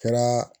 Kɛra